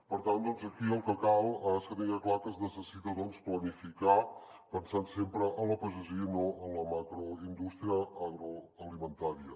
per tant aquí el que cal és que tinguem clar que es necessita planificar pensant sempre en la pagesia i no en la macroindústria agroalimentària